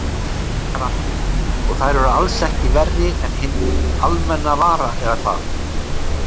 Gunnar Atli: Og þær eru alls ekki verri en hinn almenna vara eða hvað?